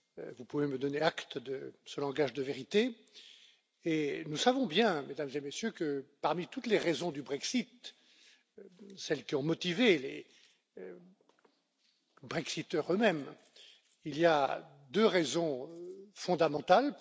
Vous pouvez me donner acte de ce langage de vérité et nous savons bien, Mesdames et Messieurs, que parmi toutes les raisons du Brexit, celles qui ont motivé les brexiteurs eux mêmes, il y en a deux fondamentales.